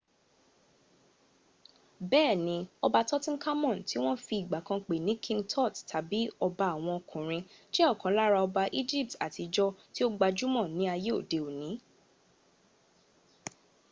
bẹ́ẹ̀ni ọba tutankhamun ti wọ́n fi ìgbà kan pè ní king tut tàbí ọba àwọn ọkùnrin jẹ́ ọ̀kan lára ọba egypt àtijọ́ tí ó gbajúmọ̀ ní ayé òdi òní